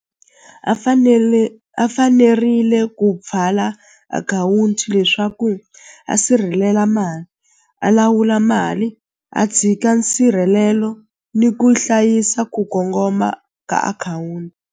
A fanele a fanerile ku pfala akhawunti leswaku a sirhelela mali a lawula mali a tshika nsirhelelo ni ku hlayisa ku kongoma ka akhawunti.